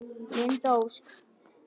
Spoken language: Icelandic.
Linda Ósk.